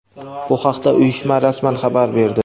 Bu haqda uyushma rasman xabar berdi.